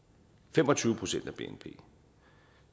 fem og tyve procent af bnp